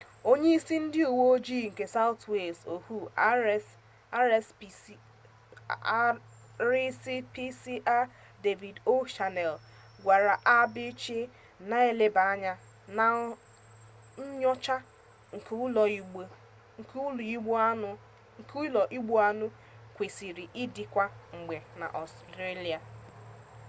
onye-isi ndi uwe-oji nke south wales ohuu rspca david o'shannessy gwara abc na nleba-anya na nyocha nke ulo-igbu-anu kwesiri idi kwa-mgbe na australia